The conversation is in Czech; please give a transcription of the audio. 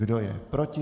Kdo je proti?